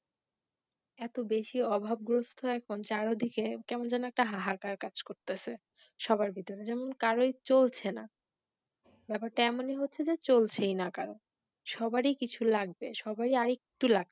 এতো বেশি অভাবগ্রস্ত এখন চারদিকে, কেমন যেন একটা হাহাকার কাজ করতেছে সবার ভিতরে যেন কারোরই চলছেন ব্যাপার টা এমন এ হচ্ছে যে চলছেইনা কারো সবারই কিছু লাগবে, সবারই আর একটু লাগ্